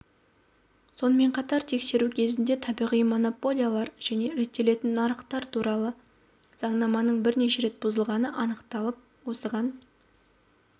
сонымен қатар тексеру кезінде табиғи монополиялар және реттелетін нарықтар туралы заңнаманың бірнеше рет бұзылғаны анықталып осыған